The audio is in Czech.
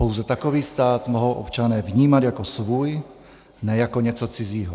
Pouze takový stát mohou občané vnímat jako svůj, ne jako něco cizího.